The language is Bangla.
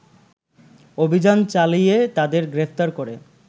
অভিযান চালিয়ে তাদের গ্রেপ্তার করে